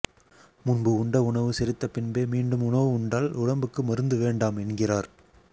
முன்பு உண்ட உணவு செரித்த பின்பே மீண்டும் உணவு உண்டால் உடம்புக்கு மருந்து வேண்டாம் என்கிறார்